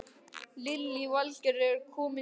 Lillý Valgerður: Er komið sumar?